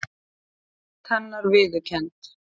Veröld hennar viðurkennd.